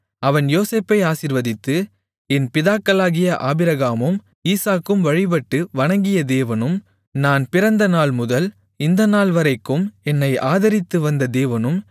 அவன் யோசேப்பை ஆசீர்வதித்து என் பிதாக்களாகிய ஆபிரகாமும் ஈசாக்கும் வழிபட்டு வணங்கிய தேவனும் நான் பிறந்த நாள்முதல் இந்த நாள்வரைக்கும் என்னை ஆதரித்துவந்த தேவனும்